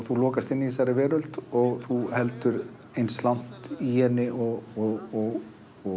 þú lokast inn í þessari veröld þú heldur eins langt í henni og